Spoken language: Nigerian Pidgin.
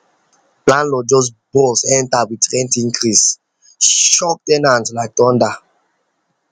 landlorld just burst enter with rent incasee shock ten ant like thunder